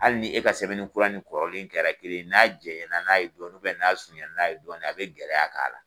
Hali ni e ka sɛbɛnni kura ni kɔrɔlen kɛra kelen ye n'a jɛngɛ na n'a ye dɔɔnin n'a surunyana n'a ye dɔɔnin a bɛ gɛlɛya k'a la.